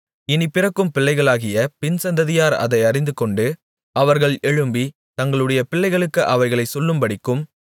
இனிப் பிறக்கும் பிள்ளைகளாகிய பின்சந்ததியார் அதை அறிந்துகொண்டு அவர்கள் எழும்பித் தங்களுடைய பிள்ளைகளுக்கு அவைகளைச் சொல்லும்படிக்கும்